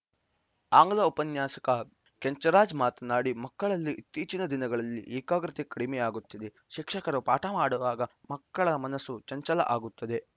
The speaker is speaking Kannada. ಆಂಗ್ಲ ಉಪನ್ಯಾಸಕ ಕೆಂಚರಾಜ್‌ ಮಾತನಾಡಿ ಮಕ್ಕಳಲ್ಲಿ ಇತ್ತೀಚಿನ ದಿನಗಳಲ್ಲಿ ಏಕಾಗ್ರತೆ ಕಡಿಮೆಯಾಗುತ್ತಿದೆ ಶಿಕ್ಷಕರು ಪಾಠ ಮಾಡುವಾಗ ಮಕ್ಕಳ ಮನಸ್ಸು ಚಂಚಲ ಆಗುತ್ತದೆ